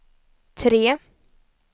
tre